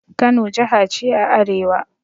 Kano jaha ce a arewa.